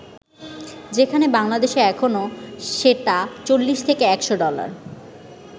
যেখানে বাংলাদেশে এখনও সেটা ৪০ থেকে ১০০ ডলার।